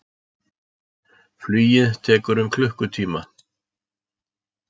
Flugið tekur um klukkutíma.